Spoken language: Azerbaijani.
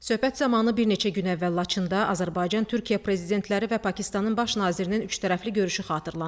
Söhbət zamanı bir neçə gün əvvəl Laçında Azərbaycan Türkiyə prezidentləri və Pakistanın baş nazirinin üçtərəfli görüşü xatırlandı.